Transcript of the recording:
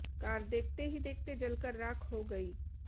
car देखते ही देखते जलकर राख हो गई